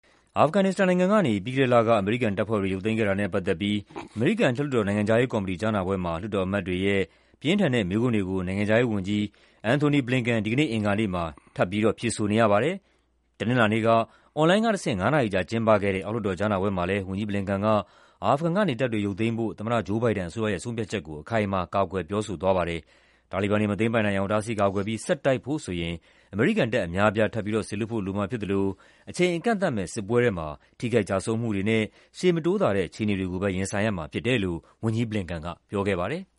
အာဖဂန်နစ္စတန်ကနေ ပြီးခဲ့တဲ့လက အမေရိကန်တပ်ဖွဲတွေ ရုတ်သိမ်းခဲ့တာနဲ့ ပတ်သက်ပြီး အမေရိကန် အထက်လွှတ်တော် နိုင်ငံခြားရေးကော်မတီ ကြားနာပွဲမှာ လွှတ်တော်အမတ်တွေရဲ့ ပြင်းထန်တဲ့ မေးခွန်းတွေကို နိုင်ငံခြားရေးဝန်ကြီး Antony Blinken ဒီကနေ့ အင်္ဂါနေ့မှာ ထပ်ပြီး ရင်ဆိုင်ရဖွယ်ရှိပါတယ်။ တနင်္လာနေ့က အွန်လိုင်းကတဆင့် ငါးနာရီကြာ ကျင်းပခဲ့တဲ့ အောက်လွှတ်တော် ကြားနာပွဲမှာလည်း ဝန်ကြီး Blinken က အာဖဂန်ကနေ တပ်တွေရုပ်သိမ်းဖို့ သမ္မတ Joe Biden အစိုးရရဲ့ ဆုံးဖြတ်ချက်ကို အခိုင်အမာ ကာကွယ်ပြောဆိုခဲ့တာပါ။ တာလီဘန်တွေ မသိမ်းပိုက်နိုင်အောင် တားဆီးကာကွယ်ပြီး ဆက်တိုက်ဖို့ဆိုရင် အမေရိကန်တပ် အများအပြား ထပ်စေလွှတ်ဖို့လိုမှာ ဖြစ်သလို အချိန်အကန့်အသတ်မဲ့ စစ်ပွဲထဲမှာ ထိခိုက် ကျဆုံးမှုတွေနဲ့ ရှေ့မတိုးသာတဲ့ အခြေအနေတွေကိုပဲ ရင်ဆိုင်ရမှာဖြစ်တယ်လို့ ဝန်ကြီး Blinken က ပြောခဲ့ပါတယ်။